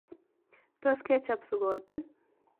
Tos kechop sukotik?